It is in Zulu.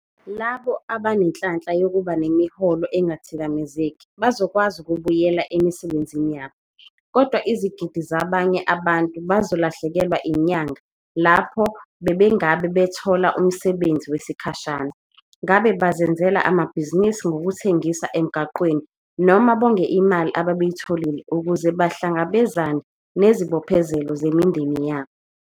Labo abanenhlanhla yokuba nemiholo engathikamezeki bazokwazi ukubuyela emisebenzini yabo, kodwa izigidi zabanye abantu bazolahlekelwa inyanga lapho bebengabe bethole umsebenzi wesikhashana, ngabe bazenzele amabhizinisi ngokuthengisa emgwaqeni noma bonge imali ababeyitholile ukuze bahlangabezane nezibophezelo zemindeni yabo.